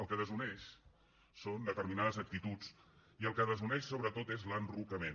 el que desuneix són determinades actituds i el que desuneix sobretot és l’enrocament